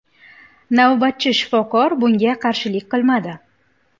Navbatchi shifokor bunga qarshilik qilmadi.